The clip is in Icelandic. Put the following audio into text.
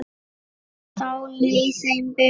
Þá leið þeim betur